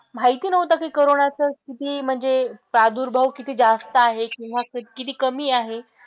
माहिती नव्हतं की कोरोनाचा किती म्हणजे प्रादुर्भाव किती जास्त आहे किंवा किती कमी आहे.